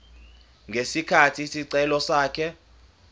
ngesikhathi isicelo sakhe